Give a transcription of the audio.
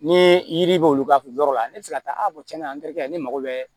Ni yiri bɛ olu ka yɔrɔ la ne bɛ se ka taa kɛ ne mago bɛ